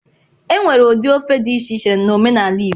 Enwere ụdị ofe dị iche iche na omenaala igbo